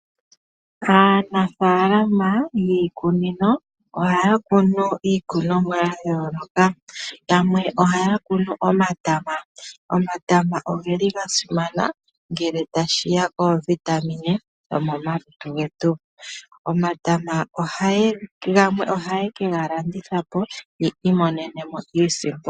Aanafalama yiikunino ohaya kunu iikunomwa ya yoolokathana, yamwe ohaya kunu omatama, omatama ogeli ga simana ngele tashiya kiitungithi yomalutu getu. Omatama gamwe oha yekega landithapo yiimonene mo iisimpo.